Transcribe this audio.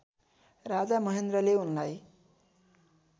राजा महेन्द्रले उनलाई